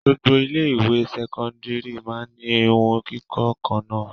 Gbogbo ilé-ìwé sẹ́kọ́ndárì máa ń ní ìhun kíkọ́ kan náà.